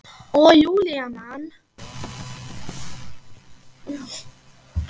Og Júlía man.